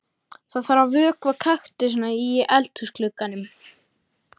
Það þarf að vökva kaktusana í eldhúsglugganum.